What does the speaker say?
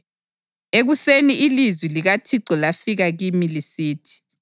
Ekuseni ilizwi likaThixo lafika kimi lisithi: